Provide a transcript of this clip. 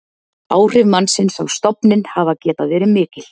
áhrif mannsins á stofninn hafa getað verið mikil